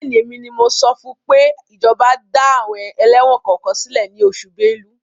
Bẹ́ẹ̀ni, èmi ni mo sọ fún pé ìjọba dá àwọn ẹlẹ́wọ̀n kọ̀ọ̀kan sílẹ̀ ní oṣù Bélú.